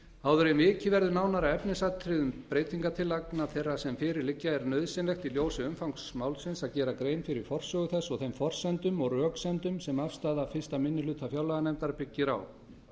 áður en vikið verður nánar að efnisatriðum breytingartillagna þeirra sem fyrir liggja er nauðsynlegt í ljósi umfangs málsins að gera grein fyrir forsögu þess og þeim forsendum og röksemdum sem afstaða fyrsti minni hluta fjárlaganefndar byggir á